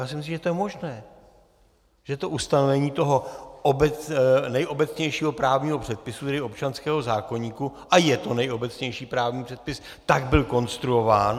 Já si myslím, že to je možné, že to ustanovení toho nejobecnějšího právního předpisu, tedy občanského zákoníku - a je to nejobecnější právní předpis, tak byl konstruován.